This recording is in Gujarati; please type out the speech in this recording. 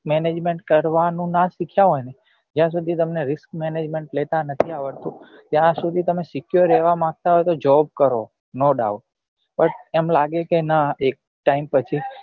management કરવા નું નાં શીખ્યા હોય ને જ્યાં સુધી તમને risk management લેતા નથી આવડતું ત્યાં સુધી તમે secure રેવા માંગતા હોય તો job કરો no doubtbut એમ લાગે કે નાં એક time